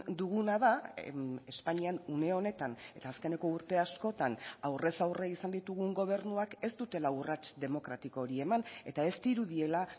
duguna da espainian une honetan eta azkeneko urte askotan aurrez aurre izan ditugun gobernuak ez dutela urrats demokratiko hori eman eta ez dirudiela